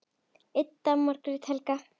Ida og Margrét Helga.